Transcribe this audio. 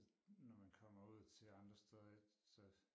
Når man kommer ud til andre steder så